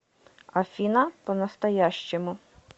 афина по настоящему